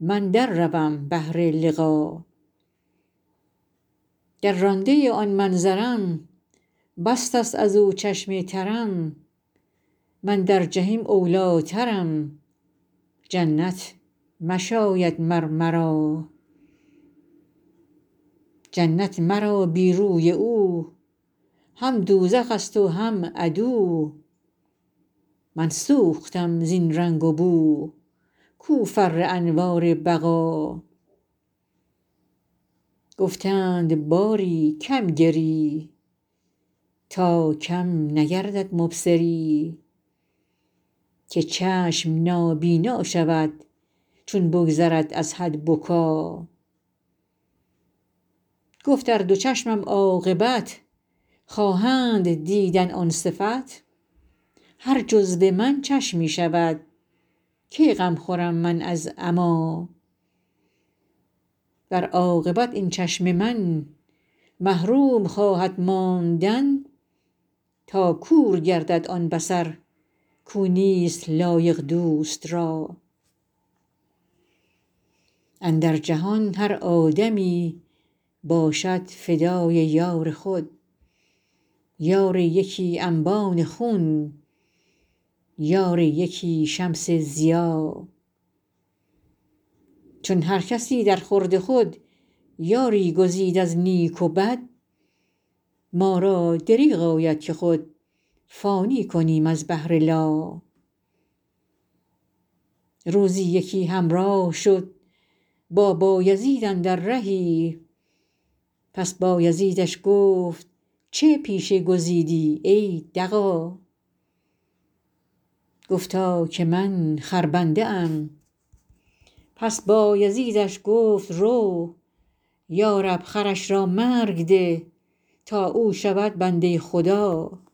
من در روم بهر لقا گر رانده آن منظرم بسته است از او چشم ترم من در جحیم اولی ٰترم جنت نشاید مر مرا جنت مرا بی روی او هم دوزخ ست و هم عدو من سوختم زین رنگ و بو کو فر انوار بقا گفتند باری کم گری تا کم نگردد مبصری که چشم نابینا شود چون بگذرد از حد بکا گفت ار دو چشمم عاقبت خواهند دیدن آن صفت هر جزو من چشمی شود کی غم خورم من از عمیٰ ور عاقبت این چشم من محروم خواهد ماندن تا کور گردد آن بصر کو نیست لایق دوست را اندر جهان هر آدمی باشد فدای یار خود یار یکی انبان خون یار یکی شمس ضیا چون هر کسی درخورد خود یاری گزید از نیک و بد ما را دریغ آید که خود فانی کنیم از بهر لا روزی یکی همراه شد با بایزید اندر رهی پس بایزیدش گفت چه پیشه گزیدی ای دغا گفتا که من خربنده ام پس بایزیدش گفت رو یا رب خرش را مرگ ده تا او شود بنده خدا